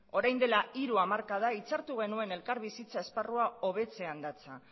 orain dela hiru hamarkada hitzartu genuen elkarbizitza esparrua hobetzean datza